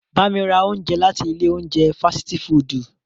Ba mi ra ounjẹ lati ile ounjẹ fasiti fudu!